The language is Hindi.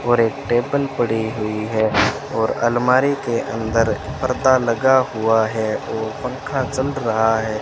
और एक टेबल पड़ी हुई है और अलमारी के अंदर पर्दा लगा हुआ है और पंखा चल रहा है।